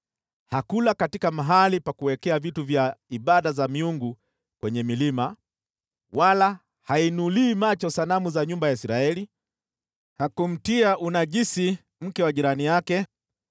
“Hakula katika mahali pa ibada za miungu kwenye milima, wala hainulii macho sanamu za nyumba ya Israeli. Hakumtia unajisi mke wa jirani yake.